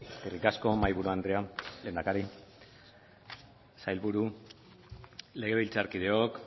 eskerrik asko mahaiburu andrea lehendakari sailburu legebiltzarkideok